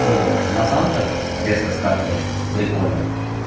ну вот на санках резко скатываешь прикольно